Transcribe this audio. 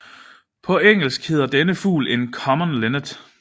På engelsk hedder denne fugl en common linnet